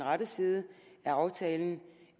og sige